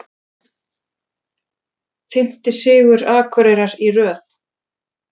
Fimmti sigur Akureyrar í röð